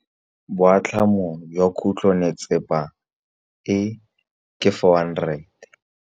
Boatlhamô jwa khutlonnetsepa e, ke 400.